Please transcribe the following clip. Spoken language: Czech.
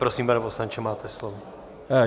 Prosím, pane poslanče, máte slovo.